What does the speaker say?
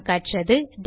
நாம் கற்றது